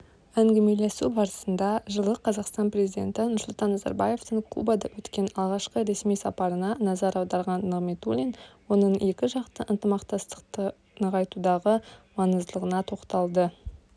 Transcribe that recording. әңгімелесу барысында жылы қазақстан президенті нұрсұлтан назарбаевтың кубада өткен алғашқы ресми сапарына назар аударған нығматулин оның екіжақты ынтымақтастықты нығайтудағы маңыздылығына тоқталды